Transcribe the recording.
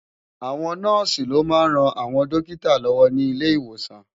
Àwón Nòsi lò má n ròn áwòn dókitá lòwò ni ilé Iwósán